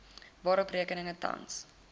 waarop rekeninge tans